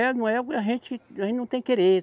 A gente, a gente não tem querer.